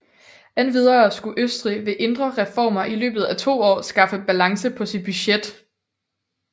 Endvidere skulle Østrig ved indre reformer i løbet af 2 år skaffe balance på sit budget